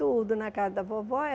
Tudo na casa da vovó.